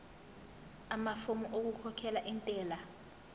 amafomu okukhokhela intela